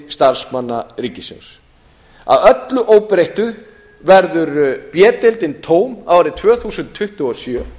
starfsmanna ríkisins að öllu óbreyttu verður b deildin tóm árið tvö þúsund tuttugu og sjö